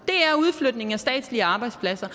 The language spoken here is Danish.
er udflytning af statslige arbejdspladser